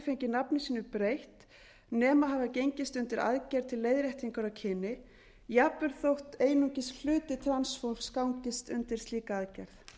fengið nafni sínu breytt nema hafa gengist undir aðgerð til leiðréttingar á kyni jafnvel þótt einungis hluti transfólks gangist undir slíka aðgerð